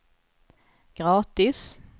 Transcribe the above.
gratis